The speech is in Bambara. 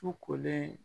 Su kolen